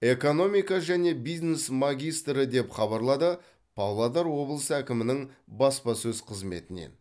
экономика және бизнес магистрі деп хабарлады павлодар облысы әкімінің баспасөз қызметінен